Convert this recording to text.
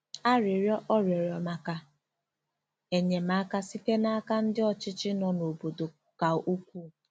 * Arịrịọ ọ rịọrọ maka enyemaka site n’aka ndị ọchịchị nọ n’obodo ka ukwuu.